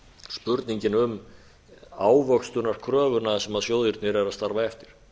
spurningin um ávöxtunarkröfuna sem sjóðirnir eru að starfa eftir